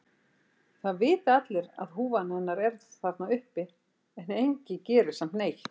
Það vita allir að húfan hennar er þarna uppi en enginn gerir samt neitt.